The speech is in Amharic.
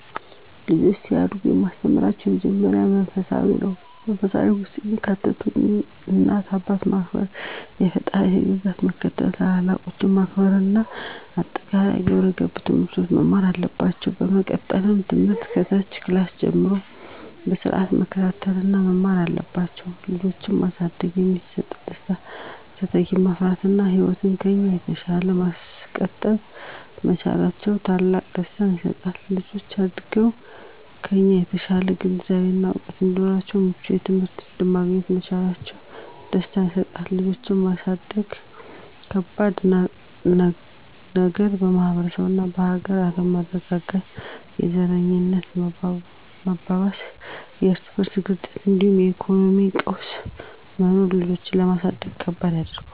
ልጆች ሲያድጉ የማስተምራቸው የመጀመሪያው መንፈሳፊነትን ነው። በመንፈሳዊነት ውስጥ የሚካተቱት እናት አባትን ማክበር፣ የፈጣሪን ህግጋት መከተል፣ ታላላቆችን ማክበር እና አጠቃላይ የግብረ ገብ ትምህርቶችን መማር አለባቸው። በመቀጠልም ትምህርት ከታች ክላስ ጀምረው በስርአት መከታተል እና መማር አለባቸው። ልጆችን ማሳደግ የሚሰጠው ደስታ:- - ተተኪን ማፍራት እና ህይወትን ከኛ በተሻለ ማስቀጠል መቻላችን ትልቅ ደስታ ይሰጣል። - ልጆች አድገው ከኛ የተሻለ ግንዛቤ እና እውቀት እንዲሁም ምቹ የትምህርት እድል ማግኘት መቻላቸው ደስታን ይሰጠናል። ልጆችን ማሳደግ ከባዱ ነገር:- - የማህበረሰብ እና የሀገር አለመረጋጋት፣ የዘረኝነት መባባስና የርስ በርስ ግጭቶች እንዲሁም የኢኮኖሚ ቀውስ መኖሩ ልጆችን ለማሳደግ ከባድ ያደርገዋል።